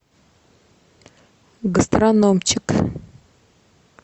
гастрономчик